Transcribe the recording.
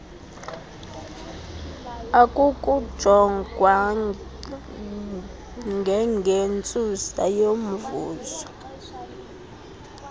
akukujongwa ngengentsusa yomvuzo